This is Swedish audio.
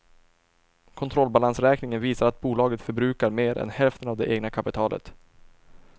Kontrollbalansräkningen visar att bolaget förbrukat mer än hälften av det egna kapitalet.